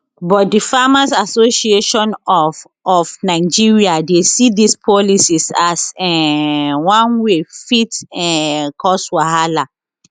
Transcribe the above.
but di farmers association of of nigeria dey see dis policy as um one wey fit um cause wahala